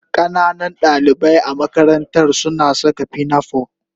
Ƙananan dalibai a makarantar suna saka pinafore